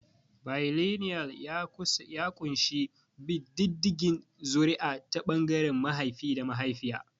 Bailinial ya ƙunshi bin diddigin zuri'a ta ɓangaren mahaifi da mahaifiya.